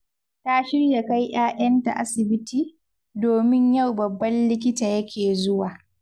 Ta shirya kai 'ya'yanta asibiti, domin yau babban likita yake zuwa